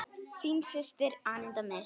Þín systir, Aníta Mist.